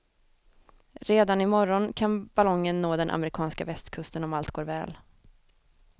Redan i morgon kan ballongen nå den amerikanska västkusten om allt går väl.